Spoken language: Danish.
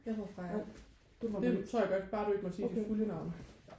Jeg hedder Freja det tror jeg godt bare du ikke må sige dit fulde navn